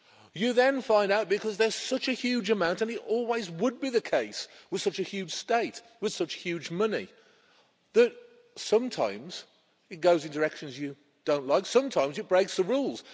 You then find out because there's such a huge amount, and it always would be the case with such a huge state, with such huge money that sometimes it goes in directions you don't like. Sometimes, it breaks the rules.